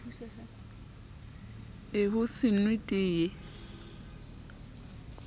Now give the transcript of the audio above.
c ho se nwe teye